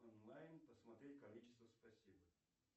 онлайн посмотреть количество спасибо